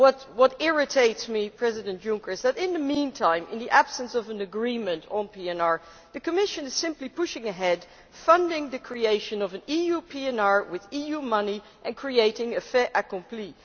What irritates me, President Juncker, is that in the meantime, in the absence of an agreement on PNR, the Commission is simply pushing ahead, funding the creation of an EU PNR with EU money and creating a fait accompli.